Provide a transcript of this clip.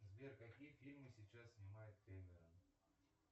сбер какие фильмы сейчас снимает кэмерон